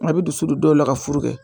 A bɛ dusu don dɔw la ka furu kɛ